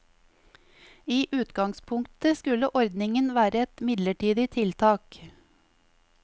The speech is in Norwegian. I utgangspunktet skulle ordningen være et midlertidig tiltak.